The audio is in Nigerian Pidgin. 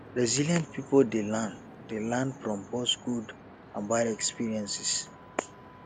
resilient pipo dey learn dey learn from both good and bad experiences